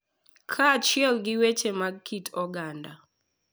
Kaachiel gi weche mag kit oganda,